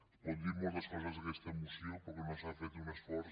es poden dir moltes coses d’aquesta moció però que no s’ha fet un esforç